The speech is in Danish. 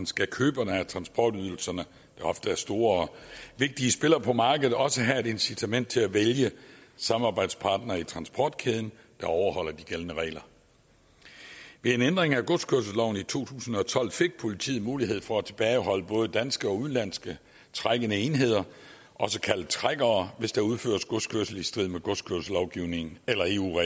skal køberne af transportydelserne der ofte er store og vigtige spillere på markedet også have et incitament til at vælge samarbejdspartnere i transportkæden der overholder de gældende regler ved en ændring af godskørselsloven i to tusind og tolv fik politiet mulighed for at tilbageholde både danske og udenlandske trækkende enheder også kaldet trækkere hvis der udføres godskørsel i strid med godskørselslovgivningen eller eu